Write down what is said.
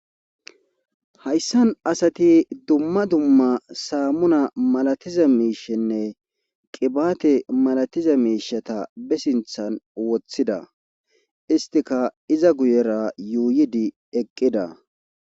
hayssan asati dumma dumma saammuna malatiza miishenne qibaate malatiza miishata be sinthan woththida istika iza guyera yuuyidi eqqida